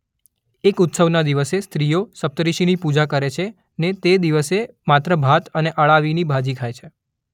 એક ઉત્સવના દિવસે સ્ત્રીઓ સપ્તર્ષિની પૂજા કરે છે ને તે દિવસે માત્ર ભાત અને અળાવીની ભાજી ખાય છે.